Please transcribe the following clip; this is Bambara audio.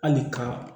Hali ka